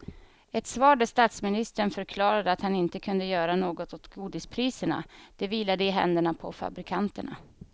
Ett svar där statsministern förklarade att han inte kunde göra något åt godispriserna, det vilade i händerna på fabrikanterna.